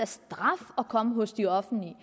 straf at komme hos de offentlige